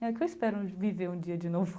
É, que eu espero viver um dia de novo.